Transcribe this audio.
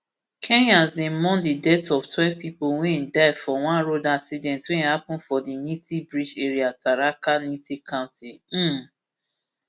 kenyas dey mourn di death of twelve pipo wey die for one road accident wey happun for di nithi bridge area tharaka nithi county um